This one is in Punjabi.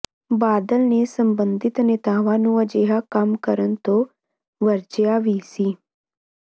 ਬਾਦਲ ਨੇ ਸਬੰਧਿਤ ਨੇਤਾਵਾਂ ਨੂੰ ਅਜਿਹਾ ਕੰਮ ਕਰਨ ਤੋਂ ਵਰਜਿਆ ਵੀ ਸੀ